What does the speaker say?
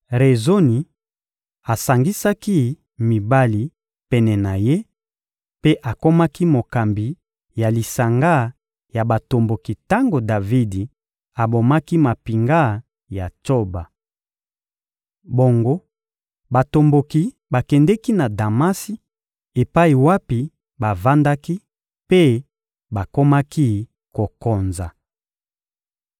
Rezoni asangisaki mibali pene na ye mpe akomaki mokambi ya lisanga ya batomboki tango Davidi abomaki mampinga ya Tsoba. Bongo batomboki bakendeki na Damasi epai wapi bavandaki mpe bakomaki kokonza.